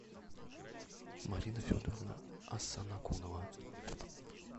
марина федоровна асанакунова